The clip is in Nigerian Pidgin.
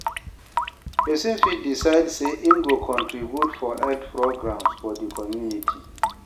persin fit decide say im go contribute for health programmes for di community